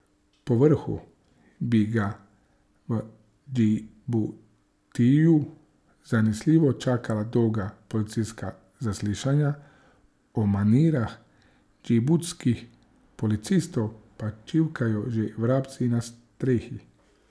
Povrhu bi ga v Džibutiju zanesljivo čakala dolga policijska zaslišanja, o manirah džibutskih policistov pa čivkajo že vrabci na strehi.